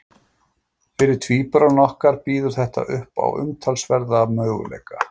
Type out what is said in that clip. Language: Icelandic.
Fyrir tvíburana okkar býður þetta upp á athyglisverðan möguleika.